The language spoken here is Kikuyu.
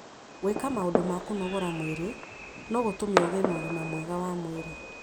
Gwĩka maũndũ ma kũnogora mwĩrĩ no gũtũme ũgĩe na ũgima mwega wa mwĩrĩ.